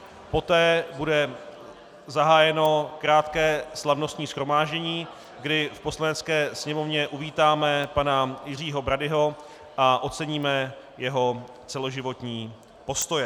Poté bude zahájeno krátké slavnostní shromáždění, kdy v Poslanecké sněmovně uvítáme pana Jiřího Bradyho a oceníme jeho celoživotní postoje.